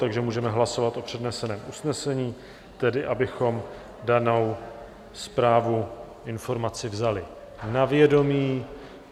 Takže můžeme hlasovat o předneseném usnesení, tedy abychom danou zprávu, informaci vzali na vědomí.